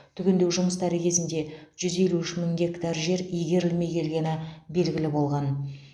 түгендеу жұмыстары кезінде жүз елу үш мың гектар жер игерілмей келгені белгілі болған